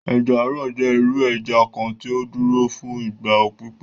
Ẹja-àrò jẹ iru ẹja kan tí ó dúro fún ìgbà pípẹ.